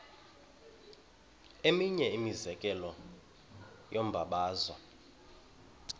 eminye imizekelo yombabazo